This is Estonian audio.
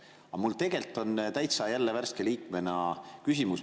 Aga mul on värske liikmena jälle küsimus.